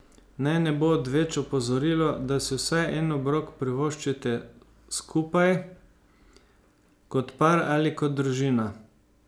Naj ne bo odveč opozorilo, da si vsaj en obrok privoščite skupaj, kot par ali kot družina.